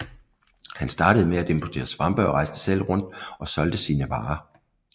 Han startede med at importere svampe og rejste selv rundt og solgte sine varer